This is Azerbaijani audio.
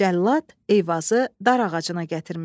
Cəllad Eyvazı dar ağacına gətirmişdi.